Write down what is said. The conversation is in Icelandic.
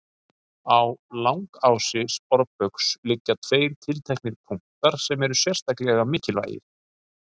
Á langási sporbaugs liggja tveir tilteknir punktar sem eru sérstaklega mikilvægir.